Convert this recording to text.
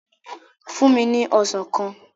Fúnni ní Ọsàn kan!